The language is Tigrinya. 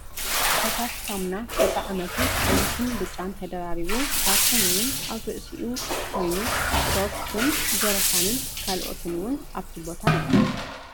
ፈሳሲ ሳሙና በቢ ዓይነቱ ቀይሕንቢጫን ተደራሪቡ ካርቶን እውን ኣብ ርእሲኡ ኮይኑ ሶፍት ን ጀረካንን ካልኦትን እውን ኣብቲ ቦታ ኣሎ ።